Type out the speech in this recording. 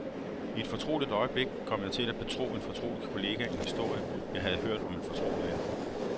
I et fortroligt øjeblik kom jeg til at betro en fortrolig kollega en historie, jeg havde hørt om en fortrolig ven.